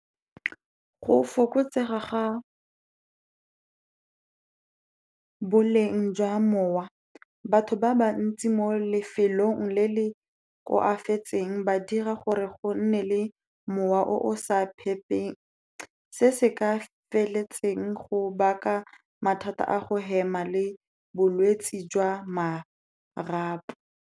Go fokotsega ga boleng jwa mowa, batho ba ba ntsi mo lefelong le le koafatseng, ba dira gore go nne le mowa o sa phephe se se ka feletseng, go baka mathata a go hema le bolwetse jwa marapo.